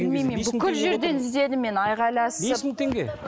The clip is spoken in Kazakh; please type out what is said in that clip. білмеймін мен бүкіл жерден іздедім мен айқайласып бес мың теңге